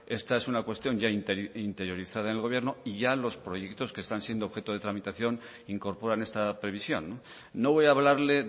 esta es una cuestión ya interiorizada en el gobierno y ya los proyectos que están siendo objeto de tramitación incorporan esta previsión no voy a hablarle